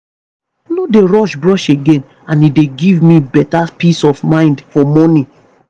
no dey rush brush again and e dey give me better peace of mind for morning.